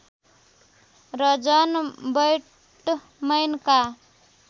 र जन बैटमैनका